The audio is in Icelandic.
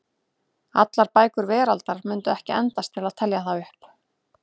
Allar bækur veraldar mundu ekki endast til að telja það upp.